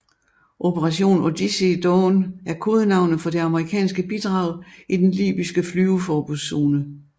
Operation Odyssey Dawn er kodenavnet for det amerikanske bidrag i den libyske flyveforbudszone